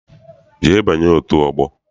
Jee banye otu ọgbọ!